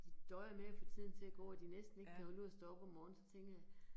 De døjer med at få tiden til at gå, og de næsten ikke kan holde ud at stå op om morgenen, så tænker jeg